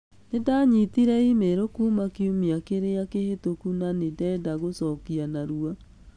Nĩ ndanyitire e-mail kuuma kiumia kĩrĩa kĩhĩtũku na nĩ ndenda gũcokia narua.